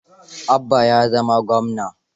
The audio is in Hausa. Abba ya zama gwamna.